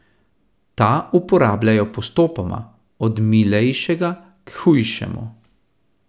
Ta uporabljajo postopoma, od milejšega k hujšemu.